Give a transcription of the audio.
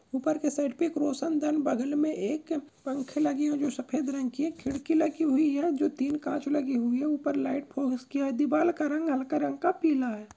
ऊपर के साइड पे एक रोशनदान बगल में एक पंख लगी हुई जो सफेद रंग की है। खिड़की लगी हुई है जो तीन कांच लगी हुई है ऊपर लाइट की आय। दिवाल का रंग हल्का रंग का पीला है।